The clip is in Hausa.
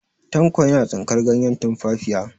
Tanko yana tsinkar ganyen tumfafiya.